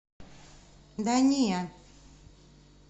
да не